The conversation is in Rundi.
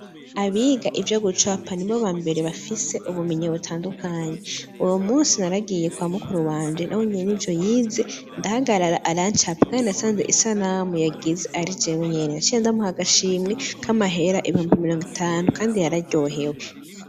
Abiga ivyo gucapa nibo bambere bafise ubumenyi butandukanye uwo munsi naragiye kwa mukuru wanje nawe nyene n'ivyo yize ndahagarara arancapa kandi nasanze isanamu yagize ari jawe nyene naciye ndamuha agashimwe ka mahera ibihumbi mirongo itanu kandi yararyohewe.